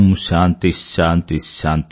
శాంతి శాంతి